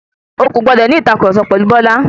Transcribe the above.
O kò gbọdọ̀ ní ìtàkurọ̀sọ pẹ̀lu Bọ́lá.